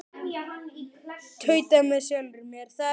Tauta með sjálfri mér.